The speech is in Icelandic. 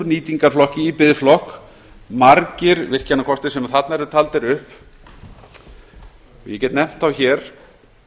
nýtingarflokki í biðflokk margir virkjanakostir sem þarna eru taldir upp ég get nefnt þá hér